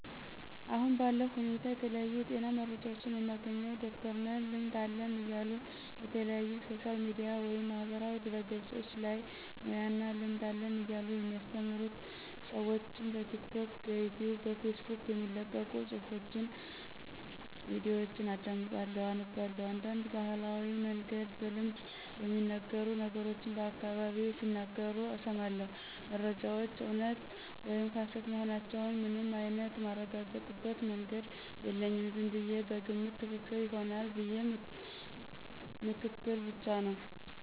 አሁን ባለው ሁኔታ የተለያዩ የጤና መረጃዎችን የማገኝው ዶክተርነን ልምድ አለን እያሉ የተለያዩ ሶሻል ሚዲያ ወይም ማህበራዊ ድህረገፆች ላይ ሙያ እና ልምድ አለን እያሉ የሚያስተምሩ ስዎችን በቲክቶክ፣ ብኢትዩብ፣ በፌስቡክ የሚለቀቁ ፁሑፎች፣ ቪዲዮችን አዳምጣለሁ አነባላሁ፣ እንዳንድ በባህላዊ መንገድ በልምድ የሚነገሩ ነገሮችን በአካባቢየ ሲናገሩ እስማለሁ። መረጃዎች እውነት ወይም ሀሰት መሆናቸውን ምንም አይንት ማረጋግጥበት መንገድ የለኝም ዝምብየ በግምት ትክክል ይሆናል ብዬ ምክትል ብቻ ነው።